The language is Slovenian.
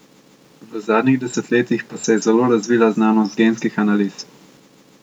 V zadnjih desetletjih pa se je zelo razvila znanost genskih analiz.